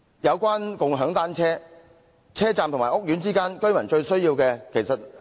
有關共享單車，這是在來往車站和屋苑之間，居民最需要的。